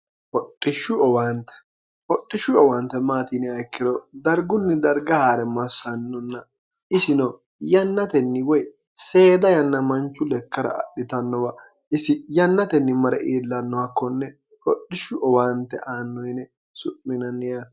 hoxishshu owaante maatiniha ikkiro dargunni darga haa're massannonna isino yannatenni woy seeda yanna manchu lekkara adhitannowa isi yannatenni mare iillannoha konne hodhishshu owaante aanno yine su'minanniyati